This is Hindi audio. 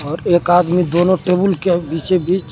और एक आदमी दोनों टेबुल के बीचों बीच--